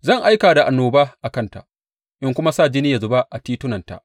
Zan aika da annoba a kanta in kuma sa jini ya zuba a titunanta.